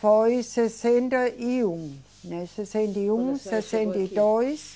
Foi sessenta e um, né. Sessenta e um, sessenta e dois